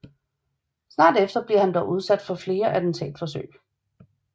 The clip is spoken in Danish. Snart efter bliver han dog udsat for flere attentatforsøg